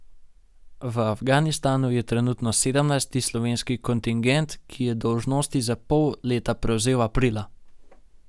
V Afganistanu je trenutno sedemnajsti slovenski kontingent, ki je dolžnosti za pol leta prevzel aprila.